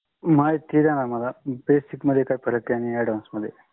महिती द्या ना माला. Basic काय फराक आहे आणि advance मधे